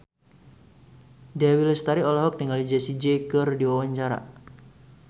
Dewi Lestari olohok ningali Jessie J keur diwawancara